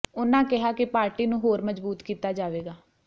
ਉਨ੍ਹਾਂ ਕਿਹਾ ਕਿ ਪਾਰਟੀ ਨੂੰ ਹੋਰ ਮਜ਼ਬੂਤ ਕੀਤਾ ਜਾਵੇਗਾ